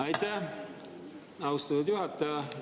Aitäh, austatud juhataja!